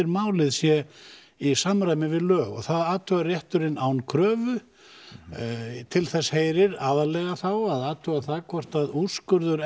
málið sé í samræmi við lög og það athugar rétturinn án kröfu til þess heyrir aðallega þá að athuga það hvort úrskurður